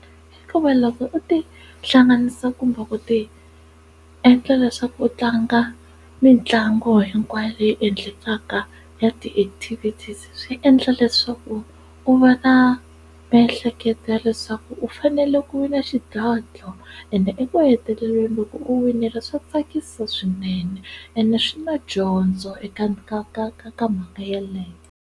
Hikuva loko u ti hlanganisa kumbe ku ti endla leswaku u tlanga mitlangu hinkwayo leyi endlekaka ya ti-activities swi endla leswaku u va na a miehleketo ya leswaku u fanele ku vi na xidlodlo ende eku heteleleni loko u winile swa tsakisa swinene ene swi na dyondzo eka ka ka ka mhaka yeleyo.